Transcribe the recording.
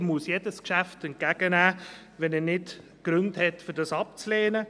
Er muss jedes Geschäft entgegennehmen, wenn er nicht Gründe hat, um es abzulehnen.